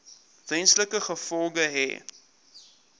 wesenlike gevolge hê